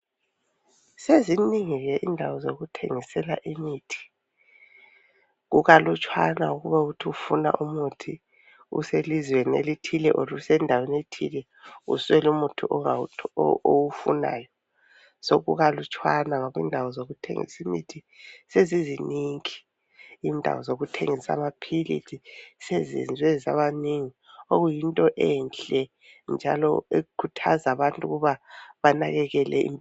Seziningi ke indawo zokuthengisela imithi. Kukalutshwana ukuba uthi ufuna umuthi uselizweni elithile oro kumbe usendaweni ethile uswele umuthi owufunayo. Sokukalutshwana ngoba indawo zokuthengisa imithi seziziningi. Indawo zokuthengisa amapilisi sezenzwe zabanengi okuyinto enhle njalo ekuthaza abantu ukuba banakekele